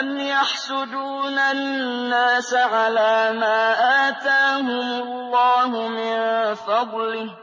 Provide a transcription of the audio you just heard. أَمْ يَحْسُدُونَ النَّاسَ عَلَىٰ مَا آتَاهُمُ اللَّهُ مِن فَضْلِهِ ۖ